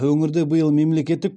өңірде биыл мемлекеттік